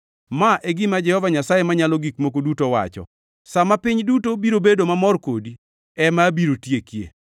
Ma e gima Jehova Nyasaye Manyalo Gik Moko Duto wacho: Sa ma piny duto biro bedo mamor kodi ema abiro tiekie.